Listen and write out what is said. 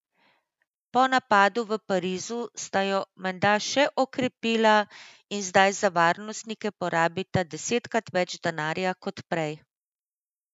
Po napadu v Parizu sta jo menda še okrepila in zdaj za varnostnike porabita desetkrat več denarja kot prej.